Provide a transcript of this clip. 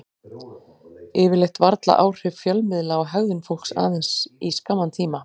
Yfirleitt vara áhrif fjölmiðla á hegðun fólks aðeins í skamman tíma.